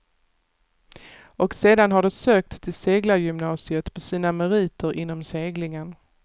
Och sedan har de sökt till seglargymnasiet på sina meriter inom seglingen.